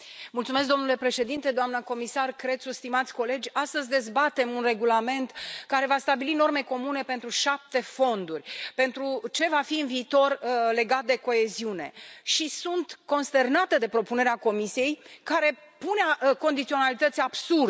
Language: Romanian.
Domnule președinte, doamnă comisar Crețu, stimați colegi, astăzi dezbatem un regulament care va stabili norme comune pentru șapte fonduri, pentru ce va fi în viitor legat de coeziune, și sunt consternată de propunerea Comisiei, care pune condiționalități absurde.